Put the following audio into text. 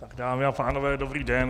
Dámy a pánové dobrý den.